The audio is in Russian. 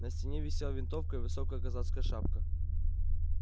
на стене висела винтовка и высокая казацкая шапка